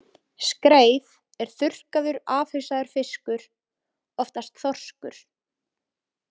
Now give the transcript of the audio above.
Skreið er þurrkaður, afhausaður fiskur, oftast þorskur.